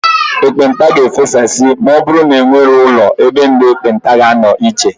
Ekpenta ga-efesasị ma ọbụrụ na enweghị ụlọ ebe ndị ekpenta ga-anọ iche.